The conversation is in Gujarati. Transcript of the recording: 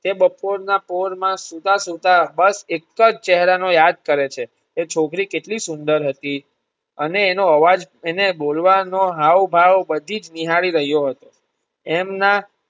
તે બપોર ના પોર માં સુતા સુતા હર્ષ એક જ ચેહરા ને યાદ કરે છે એ છોકરી કેટલી સુંદર હતી અને એનો અવાજ અને બોલવાનો હાવ ભાવ બધી જ નિહાળી રહ્યો હતો એમના.